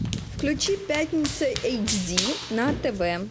включи пятница эйч ди на тв